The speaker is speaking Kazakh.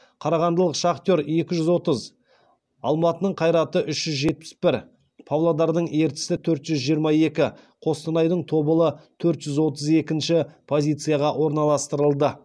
қарағандылық шахтер екі жүз отыз алматының қайраты үш жүз жетпіс бір павлодардың ертісі төрт жүз жиырма екі қостанайдың тобылы төрт жүз отыз екінші позицияға орналастырылды